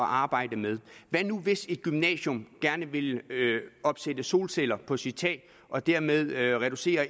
arbejde med hvad nu hvis et gymnasium gerne vil opsætte solceller på sit tag og dermed reducere